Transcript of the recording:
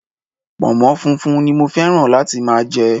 Pònmó funfun ni mo féràn láti máa je